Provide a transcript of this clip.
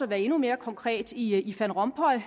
være endnu mere konkret i van rompuy